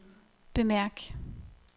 bemærk